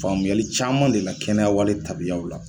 Faamuyali caman de la kɛnɛyawale tabiyaw la